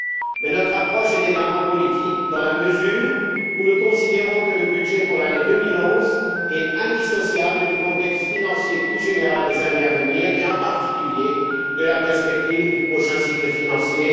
Mais notre approche est également politique dans la mesure où nous considérons que le budget pour l'année 2011 est indissociable du contexte financier plus général des années à venir et, en particulier, de la perspective du prochain cycle financier